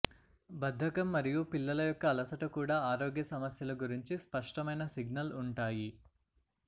బద్ధకం మరియు పిల్లల యొక్క అలసట కూడా ఆరోగ్య సమస్యలు గురించి స్పష్టమైన సిగ్నల్ ఉంటాయి